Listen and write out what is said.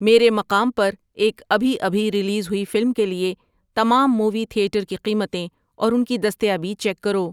میرے مقام پر ایک ابھی ابھی ریلیز ہوئی فلم کے لیے تمام مووی تھیٹر کی قیمتیں اور ان کی دستیابی چیک کرو